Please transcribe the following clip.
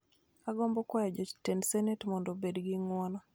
Agombo kwayo jotend senet mondo obed gi ng'uono